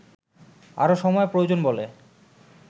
আরও সময় প্রয়োজন বলে